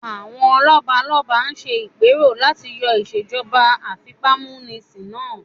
Àwọn lọ́balọ́ba ṣe ìpẹ́rò láti yọ ìsèjọba àfipámúnisin náà